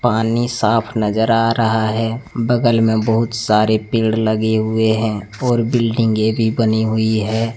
पानी साफ नजर आ रहा है बगल में बहुत सारे पेड़ लगे हुए हैं और बिल्डिंगे भी बनी हुई है।